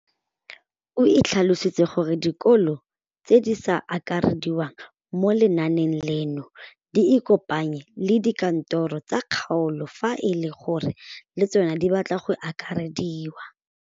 O tlhalositse gore dikolo tse di sa akarediwang mo lenaaneng leno di ikopanye le dikantoro tsa kgaolo fa e le gore le tsona di batla go akarediwa.